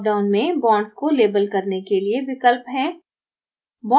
dropdown में bonds को label करने के लिए विकल्प हैं